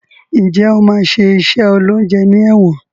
Njé o ma ṣe iṣé oloúnjẹ ní èwòn